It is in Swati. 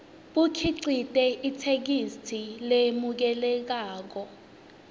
bukhicite itheksthi lemukelekako